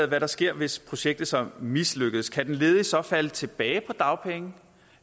der sker hvis projektet så mislykkes kan den ledige så falde tilbage på dagpenge